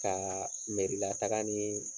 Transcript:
Ka miiri la taga ni